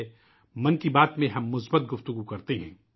'' من کی بات '' میں ہم مثبت باتیں کرتے ہیں